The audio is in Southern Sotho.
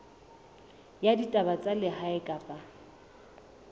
ya ditaba tsa lehae kapa